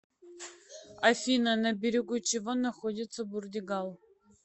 афина на берегу чего находится бурдигал